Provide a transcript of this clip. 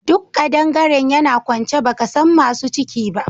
Duk kadangaren yana kwance baka san masu ciki ba